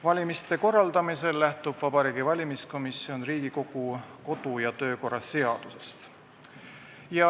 Valimiste korraldamisel lähtub Vabariigi Valimiskomisjon Riigikogu kodu- ja töökorra seadusest.